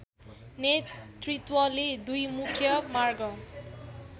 नेतृत्वले दुई मुख्य मार्ग